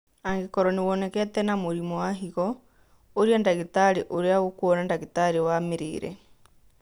Angĩkorwo nĩwonekete na mũrimũ wa higo, ũria ndagĩtarĩ ũrĩa ũkuona ndagĩtarĩ wa mĩrĩre